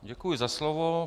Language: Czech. Děkuji za slovo.